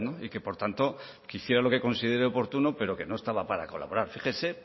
y que por tanto quisiera lo que considere oportuno pero que no estaba para colaborar fíjese